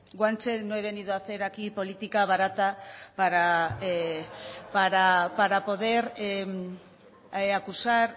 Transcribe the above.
guanche no he venido aquí a hacer política barata para poder acusar